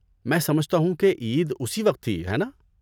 میں سمجھتا ہوں کہ عید اسی وقت تھی؟ ہے نا؟